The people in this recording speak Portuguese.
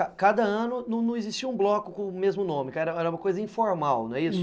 Aí cada ano não não existia um bloco com o mesmo nome, era uma coisa informal, não é isso?